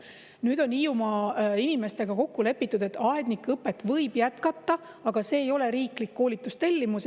Nüüd on Hiiumaa inimestega kokku lepitud, et aednikuõpet võib jätkata, aga see ei ole riiklik koolitustellimus.